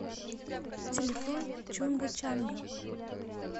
телефон чунга чанга